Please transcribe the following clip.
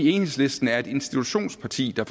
enhedslisten er et institutionsparti der